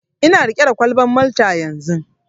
Ina riƙe da kwalban Malta yanzun.